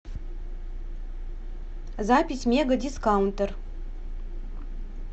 запись мега дискаунтер